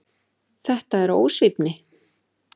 Þetta er ósvífni.